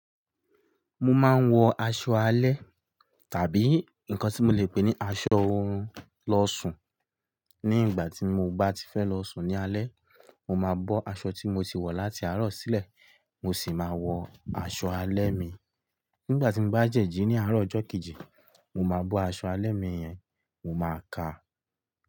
Mo máa ń wọ aṣọ alẹ́ tàbí nǹkan tí mo le pè ní aṣọ ohun lọ́ṣù. Ní ìgbà tí mo bá ti fẹ́ lọ sùn ní alẹ́, mo máa bọ́ aṣọ tí mo ti wọ̀ láti àárọ̀ sílẹ̀, mo sì máa wọ aṣọ alẹ́ mi. Nígbà tí mo bá jẹ́jí ní àárọ̀ ọjọ́ kejì, mo máa bọ́ aṣọ alẹ́ mi yẹn, mo máa ka.